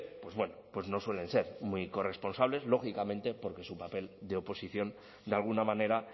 pues bueno pues no suelen ser muy corresponsables lógicamente porque su papel de oposición de alguna manera